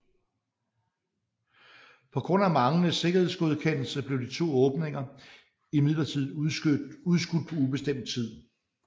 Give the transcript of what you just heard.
På grund af manglende sikkerhedsgodkendelse blev de to åbninger imidlertid udskudt på ubestemt tid